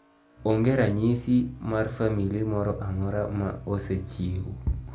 Ong'e ranyisi mar famili moro amora ma ocsechiw.